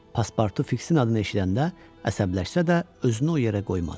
Paspartu Fiksin adını eşidəndə əsəbləşsə də, özünü o yerə qoymadı.